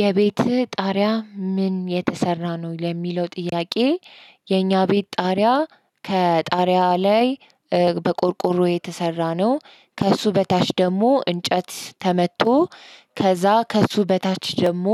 የቤትህ ጣሪያ ምን የተሰራ ነው ለሚለው ጥያቄ? የኛ ቤት ጣሪያ ከጣሪያ ላይ በቆርቆሮ የተሰራ ነው። ከእሱ በታች ደግሞ እንጨት ተመቶ ከዛ ከእሱ በታች ደግሞ